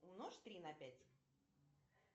умножь три на пять